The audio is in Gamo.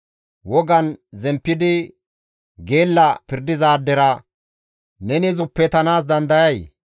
Wogan zemppidi geella pirdizaadera neni zuppetanaas dandayay?